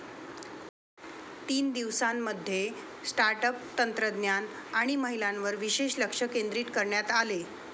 तीन दिवसांमध्ये start up, तंत्रज्ञान आणि महिलांवर विशेष लक्ष केंद्रित करण्यात आले.